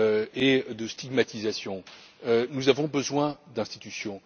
et de stigmatisation. Nous avons besoin d'institutions.